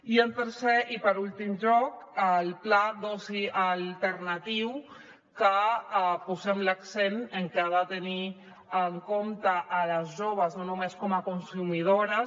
i en tercer i per últim lloc el pla d’oci alternatiu que posem l’accent en que ha de tenir en compte les joves no només com a consumidores